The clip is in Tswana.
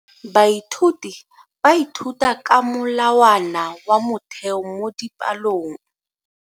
Baithuti ba ithuta ka molawana wa motheo mo dipalong.